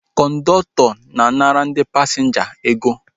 Kọndọktọ na-anara ndị pasinja ego